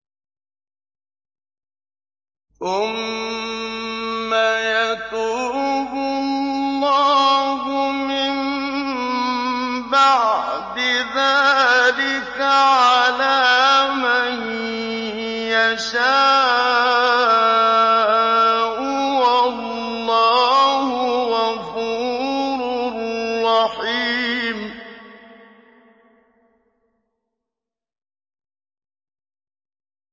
ثُمَّ يَتُوبُ اللَّهُ مِن بَعْدِ ذَٰلِكَ عَلَىٰ مَن يَشَاءُ ۗ وَاللَّهُ غَفُورٌ رَّحِيمٌ